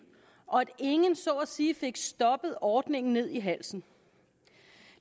og at ingen så at sige fik stoppet ordningen ned i halsen